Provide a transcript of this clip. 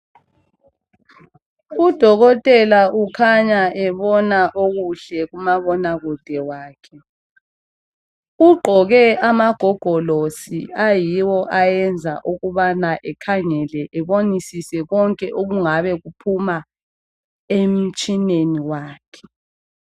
Udokotela ukhanya ebona okuhle kumabonakude wakhe Ugqoke amagogolosi ayiwo ayenza ukubana ekhangele ebonisise konke okungabe kuphuma emtshineni wakhe